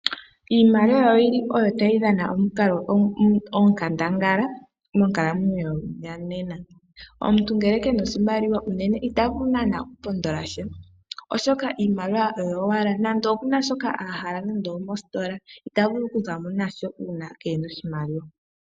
Iimaliwa oyili oyo tayi dhana onkandangala monkalamwenyo yonena. Omuntu ngele kena oshimaliwa unene itavulu naana okupondola sha. Oshoka iimaliwa oyo owala nande okuna shoka hala mositola ita vulu okuzamo nasho uuna keena oshimaliwa.